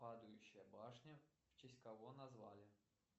падающая башня в честь кого назвали